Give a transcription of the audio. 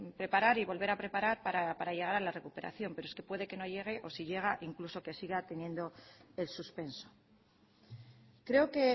preparar y volver a preparar para llegar a la recuperación pero es que puede que no llegue o si llega incluso que siga teniendo el suspenso creo que